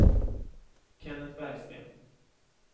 Kennet Bergsten